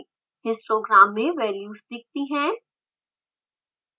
histogram में values दिखती हैं